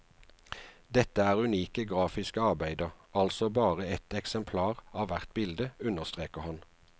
Dette er unike grafiske arbeider, altså bare ett eksemplar av hvert bilde, understreker han.